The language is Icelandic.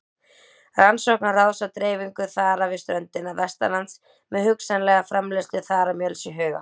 Rannsóknaráðs á dreifingu þara við ströndina vestanlands með hugsanlega framleiðslu þaramjöls í huga.